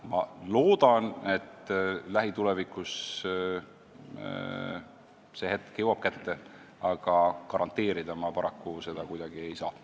Ma loodan, et lähitulevikus see hetk jõuab kätte, aga garanteerida ma paraku seda kuidagi ei saa.